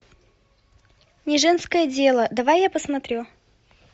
не женское дело давай я посмотрю